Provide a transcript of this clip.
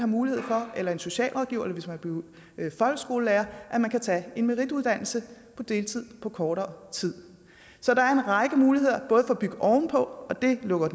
mulighed for eller en socialrådgiver eller hvis man blev folkeskolelærer at man kan tage en merituddannelse på deltid på kortere tid så der er en række muligheder både for at bygge ovenpå det lukker